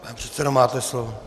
Pane předsedo, máte slovo.